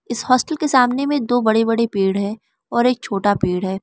इस हॉस्टल के सामने में दो बड़े बड़े पेड़ है और एक छोटा पेड़ है।